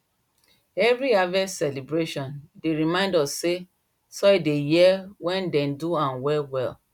every harvest celebration dey remind us say soil they hear when dem do am well well